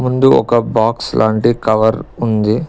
ముందు ఒక బాక్స్ లాంటి కవర్ ఉంది.